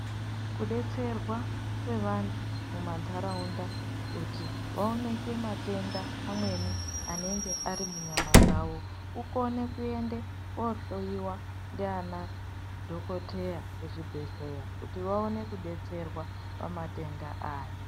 Ku detserwa kwe vantu muma ndaraunda kuti vaoneke matenda amweni anenge ari munyama dzavo kukone kuende ko hloyiwa ndiana dhokoteya ku chibhedhleya kuti vaone ku detserwa pa matenda aya.